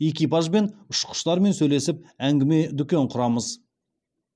экипажбен ұшқыштармен сөйлесіп әңгіме дүкен құрамыз